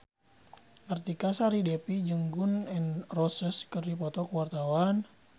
Artika Sari Devi jeung Gun N Roses keur dipoto ku wartawan